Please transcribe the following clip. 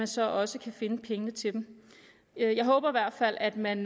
så også kan finde pengene til dem jeg håber i hvert fald at man